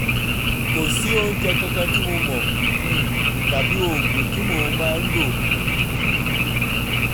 kò sí oúnjẹ kankan tí mo mọ̀ um tàbí oògùn tí mo máa ń lò